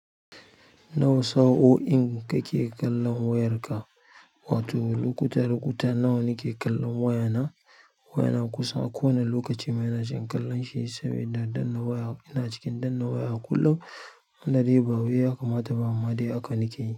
Nawa sa'o'in kake kallon wayarka? Wato lokuta lokuta nawa nake kallon wayana? Wayana kusan a kowane lokaci, ma ina cikin kallon shi sabida danna waya ina cikin danna waya kullum. Dai bawai ya kamata ba amma dai haka nakeyi.